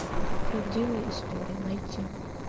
правдивая история найти